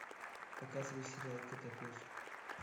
показывай сериал котопес